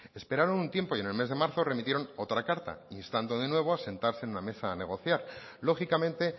esperaron un tiempo y en el mes de marzo remitieron otra carta instando de nuevo a sentarse en una mesa a negociar lógicamente